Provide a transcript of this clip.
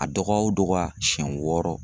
A dɔgɔya o dɔgɔya siɲɛ wɔɔrɔ.